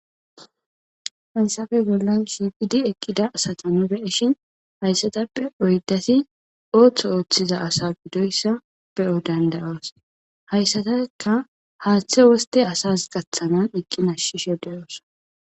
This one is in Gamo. Hayssappe bollan shiqdi eqida asata nu be'ishin hayssatappe oyddati ooththo ooththiza asa gidoyssa be'o danda'os . Haysatikka haaththe wosttia asas gathanan eeqi nashishe de'osona.